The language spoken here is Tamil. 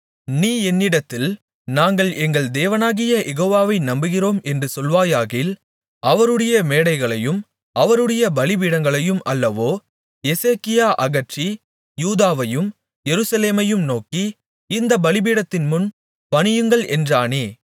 நீ என்னிடத்தில் நாங்கள் எங்கள் தேவனாகிய யெகோவாவை நம்புகிறோம் என்று சொல்வாயாகில் அவருடைய மேடைகளையும் அவருடைய பலிபீடங்களையும் அல்லவோ எசேக்கியா அகற்றி யூதாவையும் எருசலேமையும் நோக்கி இந்தப் பலிபீடத்தின்முன் பணியுங்கள் என்றானே